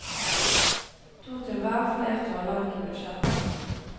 To til hver, fler tåler ikke budsjettet.